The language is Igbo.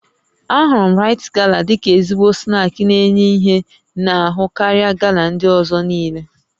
Ahụrụ m Rite Gala dịka ezigbo snaakị n'enye ihe n'ahụ karịa Gala ndị ọzọ niile